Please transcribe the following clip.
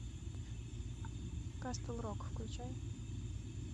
касл рок включай